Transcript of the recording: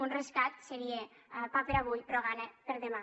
un rescat seria pa per a avui però gana per a demà